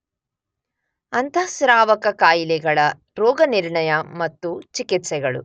ಅಂತಃಸ್ರಾವಕ ಕಾಯಿಲೆಗಳ ರೋಗನಿರ್ಣಯ ಮತ್ತು ಚಿಕಿತ್ಸೆಗಳು